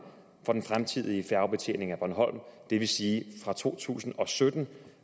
for den fremtidige færgebetjening af bornholm det vil sige fra to tusind og sytten